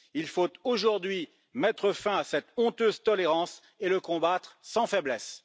Il faut aujourd'hui mettre fin à cette honteuse tolérance et le combattre sans faiblesse.